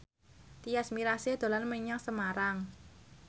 Tyas Mirasih dolan menyang Semarang